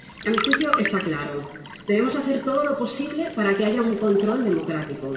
A mi juicio, está claro debemos hacer todo lo posible para que haya un control democrático